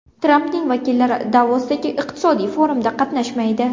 Trampning vakillari Davosdagi iqtisodiy forumda qatnashmaydi.